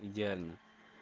идеально